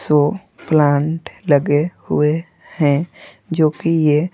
सो plant लगे हुए हैं जो कि ये--